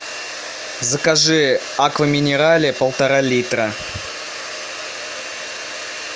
закажи аква минерале полтора литра